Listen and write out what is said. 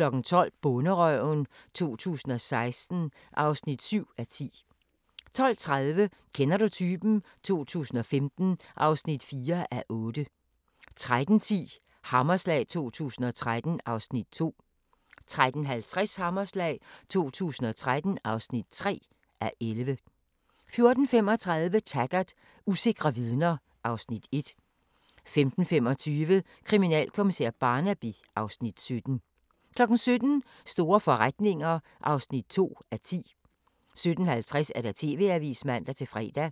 12:00: Bonderøven 2016 (7:10) 12:30: Kender du typen? 2015 (4:8) 13:10: Hammerslag 2013 (2:11) 13:50: Hammerslag 2013 (3:11) 14:35: Taggart: Usikre vidner (Afs. 1) 15:25: Kriminalkommissær Barnaby (Afs. 17) 17:00: Store forretninger (2:10) 17:50: TV-avisen (man-fre)